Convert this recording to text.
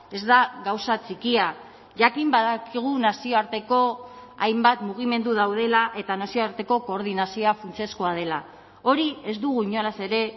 ez da gauza txikia jakin badakigu nazioarteko hainbat mugimendu daudela eta nazioarteko koordinazioa funtsezkoa dela hori ez dugu inolaz ere